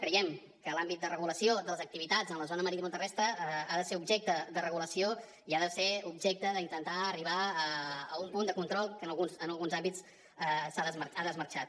creiem que l’àmbit de regulació de les activitats en la zona maritimoterrestre ha de ser objecte de regulació i ha de ser objecte d’intentar arribar a un punt de control que en alguns àmbits ha desmarxat